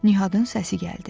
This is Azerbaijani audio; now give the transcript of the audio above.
Nihatın səsi gəldi.